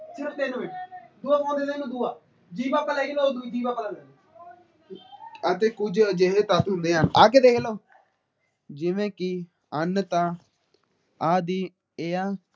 ਅਤੇ ਕੁੱਜ ਅਜਿਹੇ ਤੱਤ ਹੁੰਦੇ ਹਨ ਜਿਵੇ ਕਿ ਅੰਨ ਤਾ ਆਹਦੀ ਦੀ ਏਹ੍ਹ ਆ ।